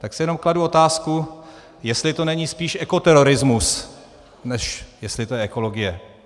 Tak si jenom kladu otázku, jestli to není spíš ekoterorismus, než jestli je to ekologie.